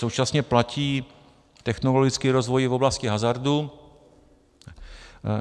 Současně platí technologický rozvoj v oblasti hazardu.